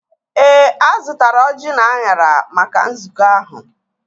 Ee, azụtara ọjị na anyara maka nzukọ ahụ